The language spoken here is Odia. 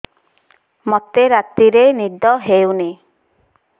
ମୋତେ ରାତିରେ ନିଦ ହେଉନି